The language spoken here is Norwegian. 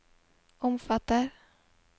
omfatter